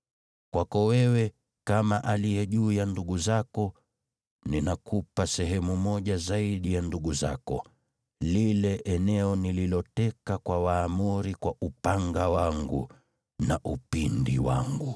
Kwako wewe, kama aliye juu ya ndugu zako, ninakupa sehemu moja zaidi ya ndugu zako, lile eneo nililoteka kwa Waamori kwa upanga wangu na upinde wangu.”